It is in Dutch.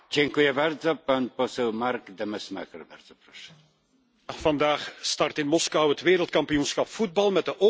Vandaag start in Moskou het Wereldkampioenschap voetbal met de openingswedstrijd tussen het Russische en het Saoedische elftal.